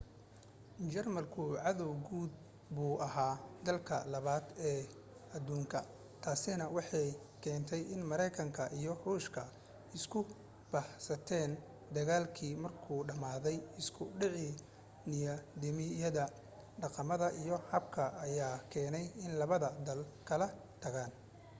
jarmalku cadaw guud buu ahaa dagaalkii 2aad ee aduubka taasina waxay keentay in maraykanka iyo ruushku isu bahaystaan dagaalkii markuu dhamaaday isku dhacii nidaamyada dhaqamada iyo hababka ayaa keenay in labada dal kala tagaan